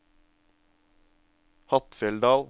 Hattfjelldal